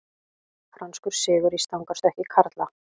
Franskur sigur í stangarstökki karla